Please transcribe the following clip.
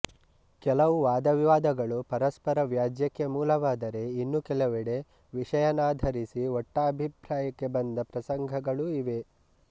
ಕೆಲವು ವಾದವಿವಾದಗಳು ಪರಸ್ಪರ ವ್ಯಾಜ್ಯಕ್ಕೆ ಮೂಲವಾದರೆ ಇನ್ನು ಕೆಲವೆಡೆ ವಿಷಯನಾಧರಿಸಿ ಒಟ್ಟಾಭಿಪ್ರಾಯಕ್ಕೆ ಬಂದ ಪ್ರಸಂಗಗಳೂ ಇವೆ